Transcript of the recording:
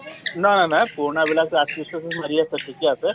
ন নই পুৰণা বিলাক টো RCH ত মাৰি আছা ঠিকে আছে ।